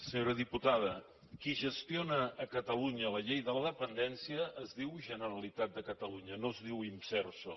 senyora diputada qui gestiona a catalunya la llei de la dependència es diu generalitat de catalunya no es diu imserso